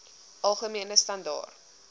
algemene standaar